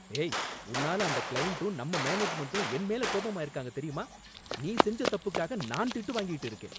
ஏய் உன்னால அந்த கிளையண்டும் நம்ம மேனேஜ்மெண்டும் என் மேல கோபமா இருக்காங்க, தெரியுமா? நீ செஞ்ச தப்புக்காக நான் திட்டு வாங்கிட்டு இருக்கேன்